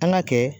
An ka kɛ